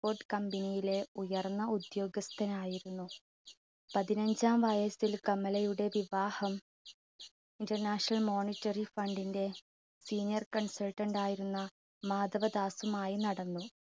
port company യിലെ ഉയർന്ന ഉദ്യോഗസ്ഥനായിരുന്നു. പതിനഞ്ചാം വയസ്സിൽ കമലയുടെ വിവാഹം international monetary fund ന്റെ senior consultant ആയിരുന്ന മാധവദാസുമായി നടന്നു.